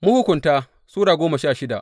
Mahukunta Sura goma sha shida